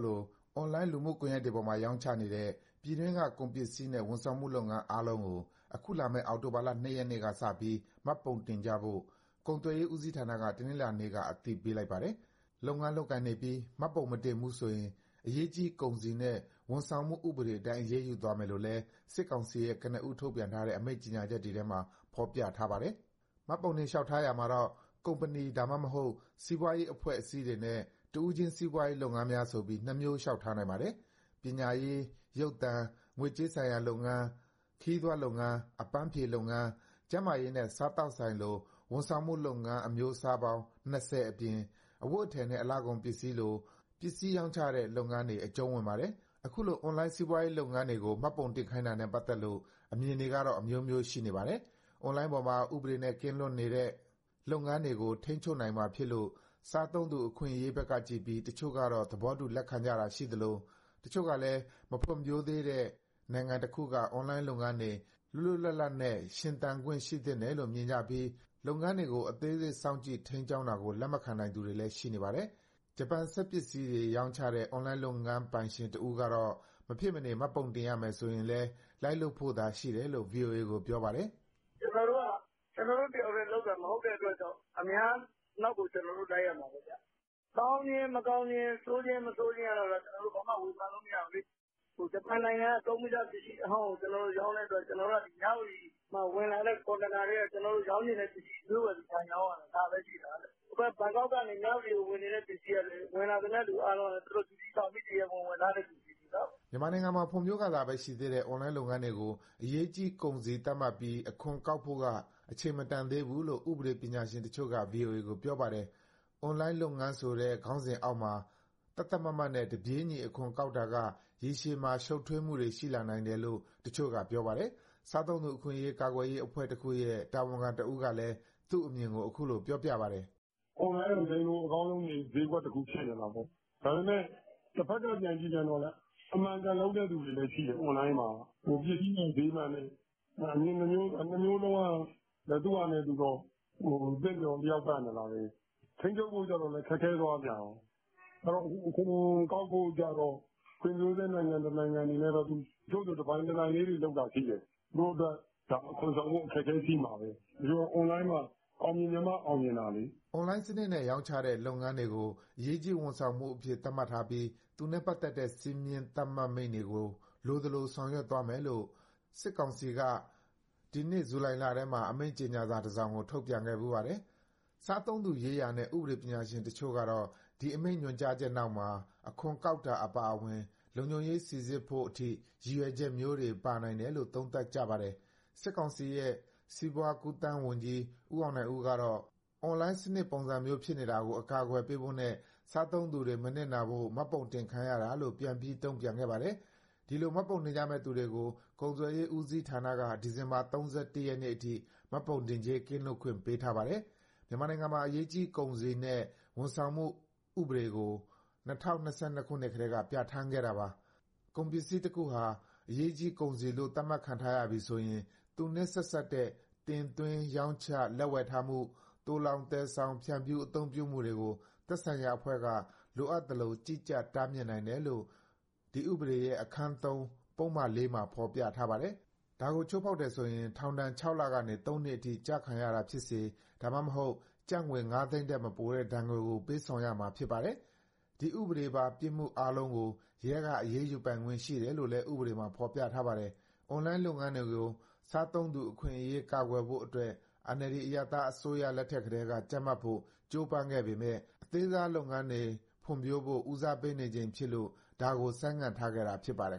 လိုင်း လူမှုကွန်ရက်ပေါ်မှာ ရောင်းချနေတဲ့ ပြည်တွင်းက ကုန်ပစ္စည်းနဲ့ ဝန်ဆောင်မှုလုပ်ငန်း အားလုံးကို အခုလာမယ့် အောက်တိုဘာလ ၂ ရက်နေ့က စပြီး မှတ်ပုံတင်ကြဖို့ ကုန်သွယ်ရေးဦးစီးဌာနက တနင်္လာနေ့က အသိပေးလိုက်တာပါ။ လုပ်ငန်းလုပ်ကိုင်နေပြီး မှတ်ပုံမတင်ဘူးဆိုရင် အရေးကြီးကုန်စည်နဲ့ ဝန်ဆောင်မှုဥပဒေအတိုင်း အရေးယူသွားမယ်လို့လည်း စစ်ကောင်စီရဲ့ ကနဦး ထုတ်ပြန်ထားတဲ့ အမိန့်ကြော်ငြာတွေထဲမှာ ဖော်ပြထားပါတယ်။ မှတ်ပုံတင် လျှောက်ထားရာမှာတော့ ကုမ္ပဏီ စီးပွားရေး အဖွဲ့အစည်းတွေနဲ့ တဦးချင်း စီးပွားရေး လုပ်ငန်းများဆိုပြီး နှစ်မျိုး လျှောက်ထားနိုင်ပါတယ်။ ပညာရေး၊ ရုပ်သံ၊ ငွေကြေးဆိုင်ရာလုပ်ငန်း၊ ခရီးသွားလုပ်ငန်း၊ အပန်းဖြေလုပ်ငန်း၊ ကျန်းမာရေးနဲ့ စားသောက်ဆိုင်လို ဝန်ဆောင်မှုလုပ်ငန်း အမျိုးအစားပေါင်း ၂၀ အပြင် အဝတ်အထည်နဲ့ အလှကုန်လို ပစ္စည်းတွေရောင်းချတဲ့ လုပ်ငန်းတွေ အကျုံးဝင်ပါတယ်။ ခုလို အွန်လိုင်း စီးပွားရေးလုပ်ငန်းတွေကို မှတ်ပုံတင်ခိုင်းတာနဲ့ပတ်သက်လို့ အမြင်တွေကတော့ အမျိုးမျိုး ရှိနေပါတယ်။ အွန်လိုင်းပေါ်မှာ ဥပဒေနဲ့ ကင်းလွတ်နေတဲ့ လုပ်ငန်းတွေကို ထိန်းချုပ်နိုင်မှာဖြစ်လို့ စားသုံးသူ အခွင့်အရေးဘက်ကကြည့်ပြီး တချို့က သဘောတူ လက်ခံကြတာ ရှိသလို၊ တချို့ကလည်း မဖွံ့ဖြိုးသေးတဲ့ နိုင်ငံတခုက အွန်လိုင်းလုပ်ငန်းတွေ လွတ်လွတ်လပ်လပ်နဲ့ ရှင်သန်ခွင့် ရှိသင့်တယ်လို့ မြင်ကြပြီး လုပ်ငန်းတွေကို အသေးစိတ် စောင့်ကြည့်ထိန်းကြောင်းတာကို လက်မခံနိုင်သူတွေလည်း ရှိနေပါတယ်။ ဂျပန် စက်ပစ္စည်းတွေ ရောင်းချတဲ့ အွန်လိုင်းလုပ်ငန်း ပိုင်ရှင်တဦးကတော့ မဖြစ်မနေ မှတ်ပုံတင်ရမယ် ဆိုရင်လည်း လိုက်လုပ်ဖို့သာ ရှိတယ်လို့ ဗွီအိုအေကို ပြောပါတယ်။ " ကျနော်တို့က ကျနော်တို့တယောက်တည်း လုပ်တာ မဟုတ်တဲ့အတွက်ကြောင့် အများနောက်ကို ကျနော်တို့ လိုက်ရမှာပဲ။ ကောင်းခြင်း၊ မကောင်းခြင်း၊ ဆိုးခြင်း၊ မဆိုးခြင်းကတော့ ကျနော်တို့ ဘာမှဝေဖန်လို့ မရဘူးလေ။ ဂျပန်နိုင်ငံကသုံးပြီးသား ပစ္စည်းအဟောင်းကို ရောင်းတဲ့အတွက် ကျနော်တို့ မြဝတီမှာ ဝင်လာတဲ့ ကွန်တိန်နာထဲက ကျနော်တို့ရောင်းချင်တဲ့ ပစ္စည်းရွေးဝယ်ပြီး ထိုင်ရောင်းတာ ဒါပဲရှိတယ်။ ဟိုဘက် ဘန်ကောက်ကနေ မြဝတီကိုဝင်နေတဲ့ ပစ္စည်းကလွဲလို့ ဝင်လာသမျှကလည်း သူတို့ဂျူတီဆောင်ပြီး တရားဝင် ဝင်လာတဲ့ ပစ္စည်းတွေချည်းပဲ။" မြန်မာနိုင်ငံမှာ ဖွံ့ဖြိုးကာစပဲ ရှိသေးတဲ့ အွန်လိုင်းလုပ်ငန်းတွေကို အရေးကြီးကုန်စည် သတ်မှတ်ပြီး အခွန်ကောက်ဖို့က အချိန်မတန်သေးဘူးလို့ ဥပဒေ ပညာရှင်တချို့က ဗွီအိုအေကို ပြောပါတယ်။ အွန်လိုင်းလုပ်ငန်း ဆိုတဲ့ ခေါင်းစဉ်အောက်မှာ သတ်သတ်မှတ်မှတ်နဲ့ တပြေးညီ အခွန်ကောက်တာက ရေရှည်မှာ ရှုပ်ထွေးမှုတွေ ရှိလာနိုင်တယ်လို့ တချို့က ပြောပါတယ်။ စားသုံးသူအခွင့်အရေး ကာကွယ်ရေးအဖွဲ့တခုရဲ့ တာဝန်ခံတဦးကလည်း သူ့အမြင်ကို အခုလို ပြောပြပါတယ်။ " အွန်လိုင်းက လိမ်လို့ကောင်းတဲ့ စျေးကွက်တခု ဖြစ်နေတာပဲ။ ဒါပေမဲ့ တဘက်က ပြန်ကြည့်ပြန်တော့လည်း အမှန်အကန်လုပ်တဲ့ သူတွေလည်း ရှိတယ်။ အွန်လိုင်းမှာ ပစ္စည်းမှန် စျေးမှန်နဲ့။ အမြင်နှစ်မျိုးလုံးက သူ့ဟာနဲ့သူ သင့်တော် လျှောက်ပတ်နေတာပဲ။ ထိန်းချုပ်ဖို့ကြတော့လည်း ခက်ခဲသွားပြန်ရော။ အဲဒီတော့ အခွန်ကောက်ဖို့ အတွက်ကြတော့ ဖွံ့ဖြိုးဆဲနိုင်ငံ တနိုင်ငံအနေနဲ့တော့ တချို့ဆို တပိုင်တနိုင်ကလေးတွေ လုပ်တာရှိတယ်။ သူတို့အတွက် အခွန်ဆောင်ဖို့ အခက်အခဲရှိမှာပဲ။ ဒီတော့ အွန်လိုင်းမှာ အောင်မြင်ချင်မှ အောင်မြင်မှာလေ။" အွန်လိုင်းစနစ်နဲ့ ရောင်းချတဲ့ လုပ်ငန်းတွေကို အရေးကြီးဝန်ဆောင်မှုအဖြစ် သတ်မှတ်ပြီး သူနဲ့ပတ်သက်တဲ့ စည်းမျဉ်း သတ်မှတ်မိန့်တွေကို လိုသလို ဆောင်ရွက်သွားမယ်လို့ နစကအစိုးရအဖွဲ့က ဒီနှစ် ဇူလိုင်လထဲမှာ အမိန့်ကြော်ငြာစာ တစောင်ကို ထုတ်ပြန်ခဲ့ဖူးပါတယ်။ စားသုံးသူရေးရာနဲ့ ဥပဒေပညာရှင်တချို့ကတော့ ဒီအမိန့်ညွန်ကြားချက်နောက်မှာ အခွန်ကောက်တာ အပါအဝင် လုံခြုံရေးစိစစ်ဖို့အထိ ရည်ရွယ်ချက်မျိုးတွေ ပါနိုင်တယ်လို့ သုံးသပ်ကြပါတယ်။ စစ်ကောင်စီရဲ့ စီးပွားကူးသန်းဝန်ကြီး ဦးအောင်နိုင်ဦးကတော့ အွန်လိုင်းစနစ် ပုံစံမျိုးစုံဖြစ်နေတာကို အကာအကွယ်ပေးဖို့နဲ့ စားသုံးသူတွေ မနစ်နာဖို့ မှတ်ပုံတင်ခိုင်းရတာလို့ ပြန်ပြီးတုံ့ပြန်ခဲ့ပါတယ်။ ဒီလို မှတ်ပုံတင်ကြမယ့် သူတွေကို ကုန်သွယ်ရေး ဦးစီးဌာနက ဒီဇင်ဘာလ ၃၁ ရက်အထိ မှတ်ပုံတင်ကြေး ကင်းလွတ်ခွင့် ပေးထားပါတယ်။ မြန်မာနိုင်ငံမှာ အရေးကြီးကုန်စည်နှင့် ဝန်ဆောင်မှုဥပဒေကို ၂၀၂၂ ခုနှစ်ကတည်းက ပြဋ္ဌာန်းခဲ့တာပါ။ ကုန်ပစ္စည်းတခုဟာ အရေးကြီးကုန်စည်လို့ သတ်မှတ်ခံထားရပြီဆိုရင် သူနဲ့ဆက်စပ်တဲ့ တင်သွင်း၊ ရောင်းချ၊ လက်ဝယ်ထားမှု၊ သိုလှောင်၊ သယ်ဆောင်၊ ဖြန့်ဖြူး အသုံးပြုမှုတွေကို သက်ဆိုင်ရာအဖွဲ့က လိုသလိုကြီးကြပ်၊ တားမြစ်နိုင်တယ်လို့ ဒီဥပဒေရဲ့ အခန်း ၊ ပုဒ်မ မှာ ဖော်ပြထားပါတယ်။ ဒါကိုချိုးဖောက်တယ်ဆိုရင် ထောင်ဒဏ် ၆ လကနေ ၃ နှစ်အထိ ကျခံရတာဖြစ်စေ၊ ဒါမှမဟုတ် ကျပ်ငွေ ၅ သိန်းထက်မပိုတဲ့ ငွေဒဏ်ကို ပေးဆောင်ရမှာ ဖြစ်ပါတယ်။ ဒီဥပဒေပါ ပြစ်မှုအားလုံးကို ရဲက အရေးယူပိုင်ခွင့် ရှိတယ်လို့လည်း ဥပဒေမှာ ဖော်ပြထားပါတယ်။ အွန်လိုင်းလုပ်ငန်းတွေကို စားသုံးသူ အခွင့်အရေး ကာကွယ်ဖို့အတွက် NLD အရပ်သားအစိုးရ လက်ထက်ကတည်းက ကြပ်မတ်ဖို့ ကြိုးပမ်းခဲ့ပေမဲ့ အသေးစားလုပ်ငန်းတွေ ဖွံ့ဖြိုးဖို့ ဦးစားပေးနေချိန်ဖြစ်လို့ ဒါကို ဆိုင်းငံ့ထားခဲ့တာ ဖြစ်ပါတယ်